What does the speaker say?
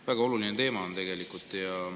Väga oluline teema on see tegelikult.